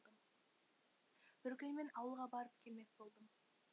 бір күні мен ауылға барып келмек болдым